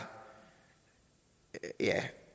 at det